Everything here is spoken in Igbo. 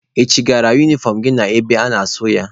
Ị chịgala unifọm gị na-ebe a ga-asụ ya?